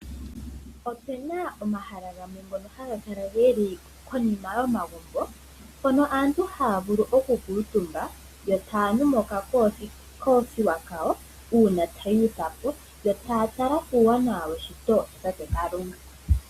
Opuna omahala gamwe ngono haga kala geli konima yo magumbo mpono aantu haya vulu oku kuutumba yo taya nu mokakoothiwa kawo uuna thuwa po yo taya tala kuuwanawa weshito lya tate kalunga.